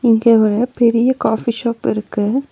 இங்க ஒரு பெரிய காபி ஷாப் இருக்கு.